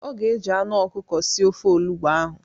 Ọ ga-eji anụ ọkụkọ sie ofe olugbo ahụ.